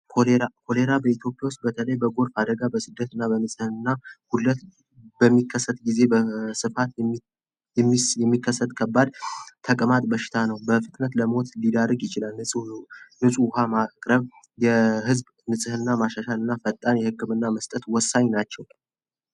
ኮሌራ በኢትዮጵያ ውስጥ በተለይ በጎርፍ አደጋ በስደትና በምለት በሚከሰት ጊዜ በስፋት የሚከሰት ከባድ ተቀማጥ በሽታ ነው በፍጥነት ለሞት ሊዳርግ ይችላሉ የህዝብ ንጽህና ማሻሻልና ፈጣን የህክምና መስጠት ወሳኝ ናቸው።